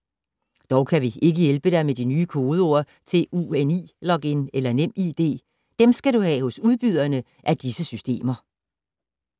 Dog kan vi ikke hjælpe dig med nye kodeord til UNI-login eller Nem ID. Dem skal du have hos udbyderne af disse systemer.